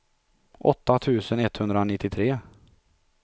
åtta tusen etthundranittiotre